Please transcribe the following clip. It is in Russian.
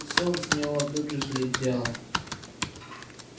сон с него тут же слетел